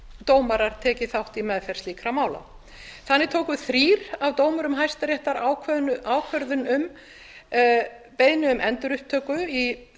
dómarar tekið þátt í meðferð slíkra mála þannig tóku þrír af dómurum hæstaréttar ákvörðun um beiðni um endurupptöku í